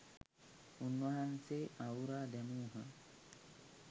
උන්වහන්සේ අවුරා දැමූහ